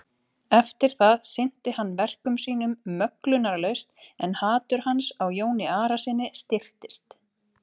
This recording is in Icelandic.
Eftir það sinnti hann verkum sínum möglunarlaust en hatur hans á Jóni Arasyni styrktist.